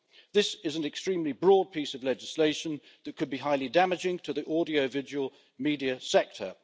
This is an extremely broad piece of legislation that could be highly damaging to the audiovisual media sector.